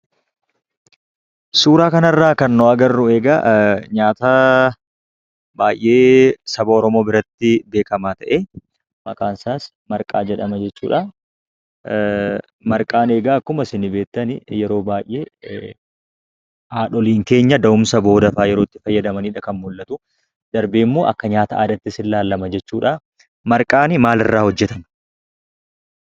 Suuraa kana irraa kan nu agarru, nyaata baayyee saba Oromoo biratti beekamaa ta'ee, maqaan isaas marqaa jedhama jechuudha. Marqaan akkuma isin beektan yeroo baayyee haadholiin keenya da'umsa booddee kan itti fayyadamaniidha kan mul'atuu, darbee immoo akka nyaata aadaattis ni ilaalama jechuudhaa. Marqaan maal irraa hojjetama?